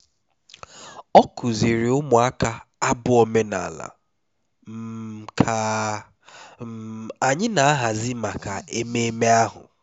ọ kụziiri ụmụaka abụ omenala um ka um anyị na-ahazi maka ememe ahụ